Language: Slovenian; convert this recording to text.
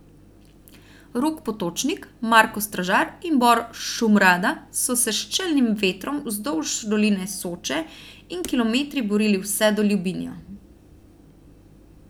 Rok Potočnik, Marko Stražar in Bor Šumrada so se s čelnim vetrom vzdolž doline Soče in kilometri borili vse do Ljubinja.